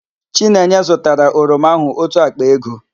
Chinenye zụtara oroma áhụ̀ ótù àkpà ego.